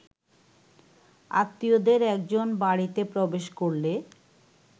আত্মীয়দের একজন বাড়িতে প্রবেশ করলে